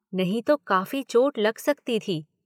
नहीं तो काफ़ी चोट लग सकती थी।